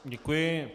Děkuji.